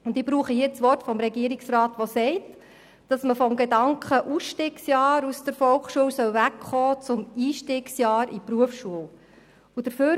Ich zitiere die Worte des Regierungsrats, der sagt, man solle vom Gedanken «Ausstiegsjahr aus der Volksschule» wegkommen und stattdessen von einem «Einstiegsjahr in die Berufsschule» sprechen.